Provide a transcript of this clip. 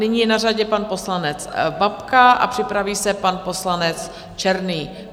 Nyní je na řadě pan poslanec Babka a připraví se pan poslanec Černý.